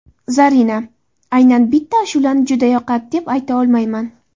Zarina: Aynan bitta ashulani juda yoqadi, deb ayta olmayman.